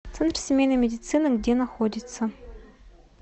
центр семейной медицины где находится